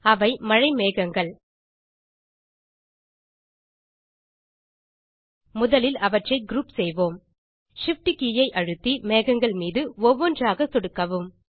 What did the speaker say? அவை மழை மேகங்கள் முதலில் அவற்றை குரூப் செய்வோம் Shift கே ஐ அழுத்தி மேகங்கள் மீது ஒவ்வொன்றாக சொடுக்கவும்